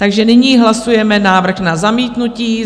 Takže nyní hlasujeme návrh na zamítnutí.